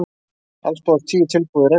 Alls bárust tíu tilboð í reksturinn